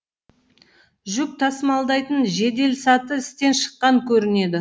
жүк тасымалдайтын жеделсаты істен шыққан көрінеді